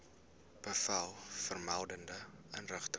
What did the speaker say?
bevel vermelde inrigting